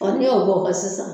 n'i y'o bɔn o kan sisan